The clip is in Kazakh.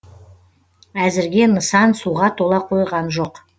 әзірге нысан суға тола қойған жоқ